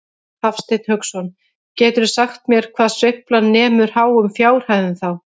Hafsteinn Hauksson: Geturðu sagt mér hvað sveiflan nemur háum fjárhæðum þá?